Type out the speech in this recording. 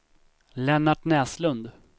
Lennart Näslund